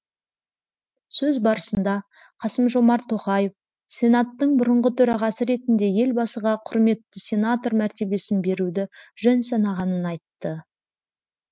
сөз барысында қасым жомарт тоқаев сенаттың бұрынғы төрағасы ретінде елбасыға құрметті сенатор мәртебесін беруді жөн санағанын айтты